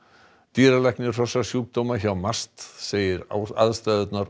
dýralæknir hrossasjúkdóma hjá MAST segir aðstæðurnar